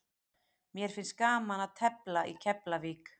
Mér finnst gaman að tefla í Keflavík.